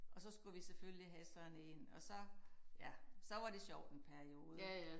Og så skulle vi selfølgelig have sådan én og så ja så var det sjovt en periode